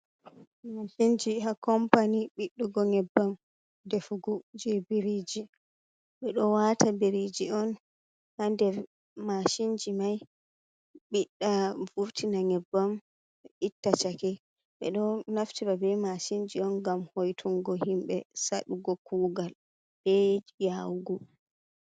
"Mashinji"ha kompani ɓiɗɗugo nyebbam defugo je biriji ɓeɗo wata biriji on ha nder mashinji mai ɓiɗɗa furtina nyebbam itta chake ɓeɗo naftira be masinji on ngam hoitungo himɓe saɗugo kugal ɓe yawugo.